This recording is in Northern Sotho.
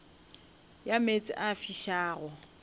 ya meetse a a fišago